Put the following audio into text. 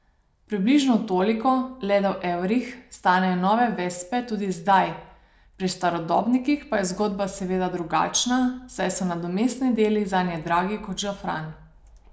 Približno toliko, le da v evrih, stanejo nove vespe tudi zdaj, pri starodobnikih pa je zgodba seveda drugačna, saj so nadomestni deli zanje dragi kot žafran.